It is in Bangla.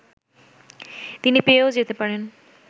তিনি পেয়েও যেতে পারেন